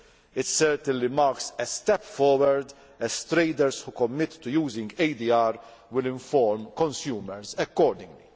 it certainly marks a step forward, as traders who commit to using ADR will inform consumers accordingly.